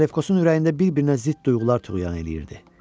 Salefkosun ürəyində bir-birinə zidd duyğular tuğyan eləyirdi.